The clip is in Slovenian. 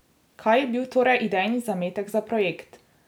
Kaj je bil torej idejni zametek za projekt?